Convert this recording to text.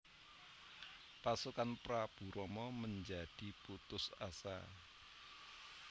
Pasukan Prabu Rama menjadi putus asa